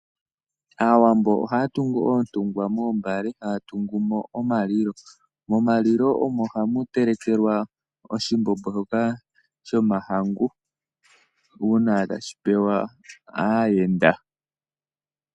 Aawambo ohaya tungu oontungwa moombale, haya tungu mo omalilo. Momalilo omo hamu telekelwa oshimbombo shoka shomahangu uuna tashi pewa aayenda.